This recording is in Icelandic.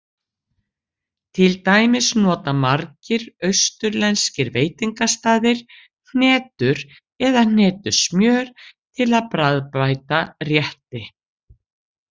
Til dæmis nota margir austurlenskir veitingastaðir hnetur eða hnetusmjör til að bragðbæta rétti.